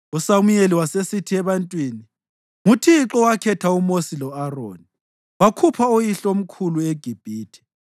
USamuyeli wasesithi ebantwini, “ NguThixo owakhetha uMosi lo-Aroni wakhupha oyihlomkhulu eGibhithe.